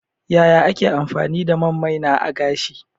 Yaya ake amfani da man maina a gashi?